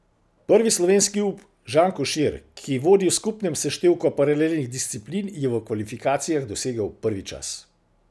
Prvi slovenski up Žan Košir, ki vodi v skupnem seštevku paralelnih disciplin, je v kvalifikacijah dosegel prvi čas.